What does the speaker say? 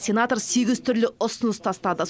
сенатор сегіз түрлі ұсыныс тастады